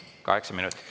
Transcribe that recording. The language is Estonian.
Kaheksa minutit.